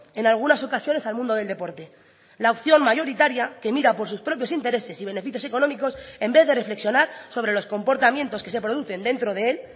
en algunas ocasiones al mundo del deporte la opción mayoritaria que mira por sus propios intereses y beneficios económicos en vez de reflexionar sobre los comportamientos que se producen dentro de él